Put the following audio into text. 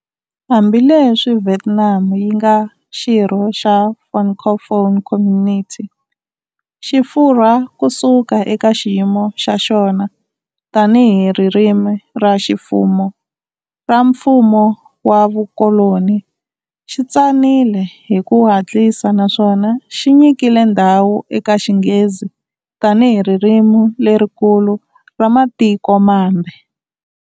Hambileswi Vietnam yi nga xirho xa Francophone Community, Xifurwa ku suka eka xiyimo xa xona tanihi ririmi ra ximfumo ra mfumo wa vukoloni xi tsanile hi ku hatlisa naswona xi nyike ndhawu eka Xinghezi tanihi ririmi lerikulu ra matiko mambe.